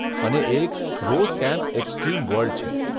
અને એક 'Rose Camp Extreme World' છે.